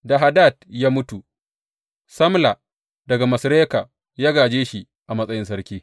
Da Hadad ya mutu, Samla daga Masreka ya gāje shi a matsayin sarki.